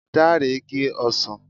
Dare gé ọsàn